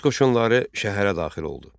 Rus qoşunları şəhərə daxil oldu.